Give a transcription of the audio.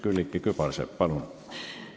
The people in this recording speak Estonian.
Külliki Kübarsepp, palun!